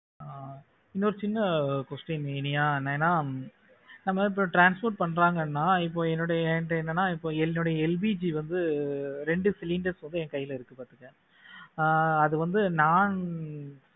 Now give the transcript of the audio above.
ஆஹ் இன்னும் ஒரு சின்ன question இனியா ஏனா நம்ம இப்போ transport பண்றாங்கன்னா என்னுடைய என்கிட்ட என்னென்ன என்னுடைய LPG வந்து ரெண்டு cylinder என்கிட்ட என் கைல இருக்கு பாத்துக்க ஆஹ் அது வந்து non